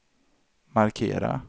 markera